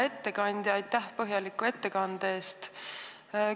Hea ettekandja, aitäh põhjaliku ettekande eest!